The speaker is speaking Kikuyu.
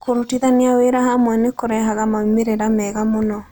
Kũrutithania wĩra hamwe nĩ kũrehaga moimĩrĩro mega mũno.